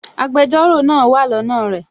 Agbẹjọ́rò náà wà lọ́nà rẹ̀